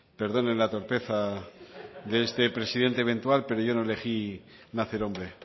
perdonen la torpeza de este presidente eventual pero yo no elegí nacer hombre